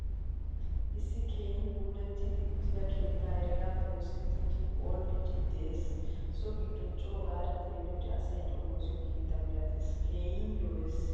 Issi keehin puulatidi uttida keettay heregappe oosettidi phoolidi de'ees. So giddoy co gada xeeliyode asay xomosiyo keettaa milattees. Keehin lo'ees.